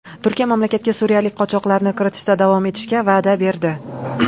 Turkiya mamlakatga suriyalik qochoqlarni kiritishda davom etishga va’da berdi.